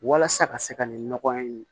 Walasa ka se ka nin nɔgɔya in